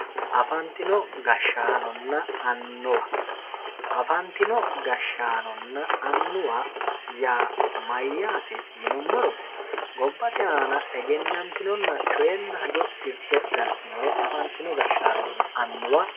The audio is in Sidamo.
afantino gashshaanonna annuwa afantino gashshaanonna annuwa yaa mayaate yinummoro gobbate aana egennantinonna coyeenna hajo tirte galtinore afantino gashshaanonna annuwa.